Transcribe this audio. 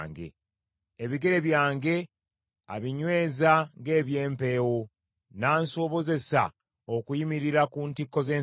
Ebigere byange abinyweza ng’eby’empeewo, n’ansobozesa okuyimirira ku ntikko z’ensozi.